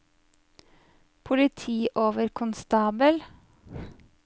politioverkonstabel